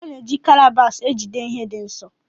A na eji Kalabash ejide ihe dị nsọ.